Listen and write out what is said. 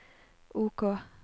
OK